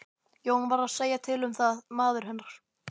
Jón varð að segja til um það, maður hennar.